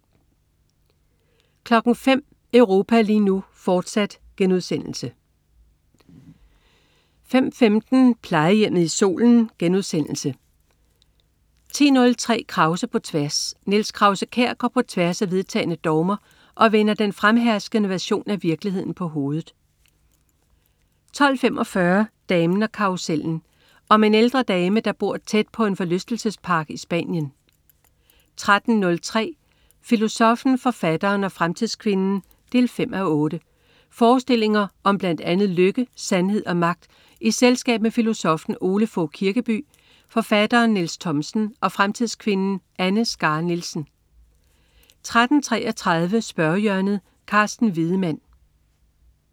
05.00 Europa lige nu, fortsat* 05.15 Plejehjemmet i Solen* 10.03 Krause på tværs. Niels Krause-Kjær går på tværs af vedtagne dogmer og vender den fremherskende version af virkeligheden på hovedet 12.45 Damen og karrusellen. Om en ældre dame, der bor tæt på på en forlystelsespark i Spanien 13.03 Filosoffen, forfatteren og fremtidskvinden 5:8. Forestillinger om blandt andet lykke, sandhed og magt i selskab med filosoffen Ole Fogh Kirkeby, forfatteren Niels Thomsen og fremtidskvinden Anne Skare Nielsen 13.33 Spørgehjørnet. Carsten Wiedemann